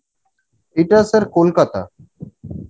এটা sir কোলকাতা